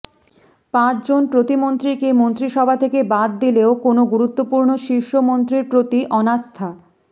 পাঁচ জন প্রতিমন্ত্রীকে মন্ত্রিসভা থেকে বাদ দিলেও কোনও গুরুত্বপূর্ণ শীর্ষ মন্ত্রীর প্রতি অনাস্থা